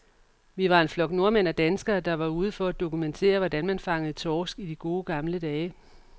Vi var en flok nordmænd og danskere, der bare var ude for at dokumentere, hvordan man fangede torsk i de gode, gamle dage.